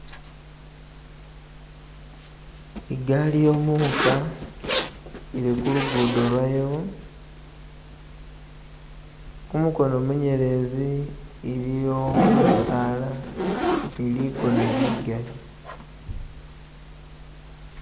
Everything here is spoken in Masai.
igali yemuka ili kulugudo lwayo kumukono muyelezi iliyo bisaala niligona ligali